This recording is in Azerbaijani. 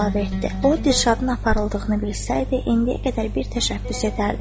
O Dirşadın aparıldığını bilsəydi, indiyə qədər bir təşəbbüs edərdi.